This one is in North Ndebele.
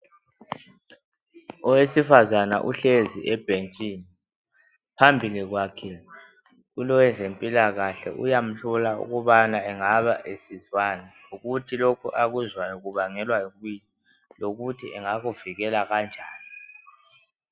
Owesifazana uhlezi ebhentshini phambili kwakhe kulowezempilakahle uyamhlola ukubana engaba esizwani ukuthi lokhu akuzwayo kubangelwa yikuyini lokuthi engakuvikela kanjani